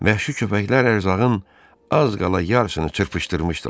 Vəhşi köpəklər ərzağın az qala yarısını çırpışdırmışdılar.